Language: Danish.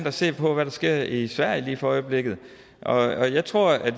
at se på hvad der sker i sverige lige for øjeblikket og jeg tror at